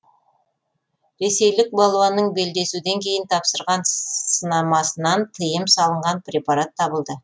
ресейлік балуанның белдесуден кейін тапсырған сынамасынан тыйым салынған препарат табылды